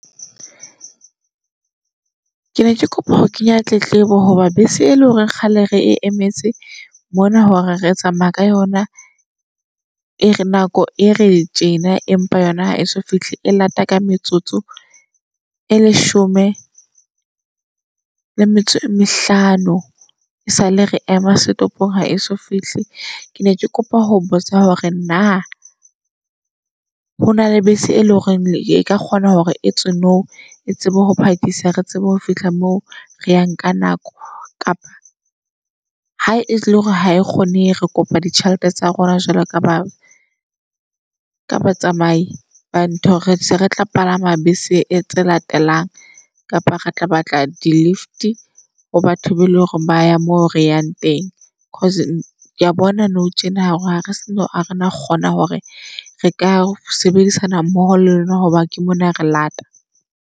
Ke ne ke kopa ho kenya tletlebo hoba bese e le hore kgale re e emetse mona hore re tsamaya ka yona e re nako e re tjena empa yona ha eso fihle. E lata ka metsotso e leshome le metso e mehlano e sale re ema stopong ha eso fihle. Ke ne ke kopa ho botsa hore na hona le bese e leng hore e ka kgona hore e tswe nou e tsebe ho phakisa re tsebe ho fihla moo re yang ka nako. Kapa ha e le hore ha e kgone re kopa ditjhelete tsa rona jwalo ka ba ka ba tsamai ba ntho re se re tla palama bese e tse latelang. Kapa re tla batla di-lift ho batho be eleng hore baya moo re yang teng. Cause kea bona nou tjena ha re sano . Ha re na kgona hore re ka sebedisana mmoho le lona, hoba ke mona re lata.